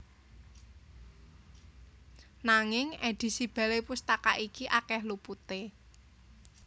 Nanging édisi Balai Pustaka iki akèh luputé